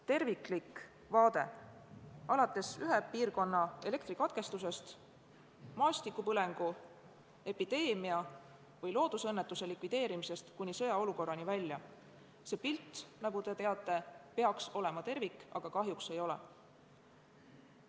Terviklik vaade alates ühe piirkonna elektrikatkestusest ning maastikupõlengu, epideemia või loodusõnnetuse likvideerimisest kuni sõjaolukorrani välja – see pilt, nagu te teate, peaks olema tervik, aga kahjuks ei ole.